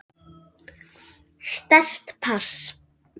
Sterkt pass.